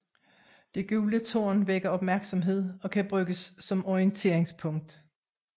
Det gule tårn vækker opmærksomhed og kan bruges som orienteringspunkt